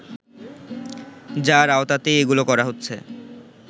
যার আওতাতেই এগুলো করা হচ্ছে